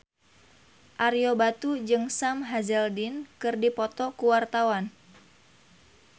Ario Batu jeung Sam Hazeldine keur dipoto ku wartawan